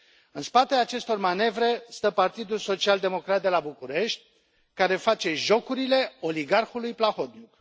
În spatele acestor manevre stă Partidul Social Democrat de la București, care face jocurile oligarhului Plahotniuc.